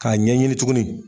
K'a ɲɛɲini tuguni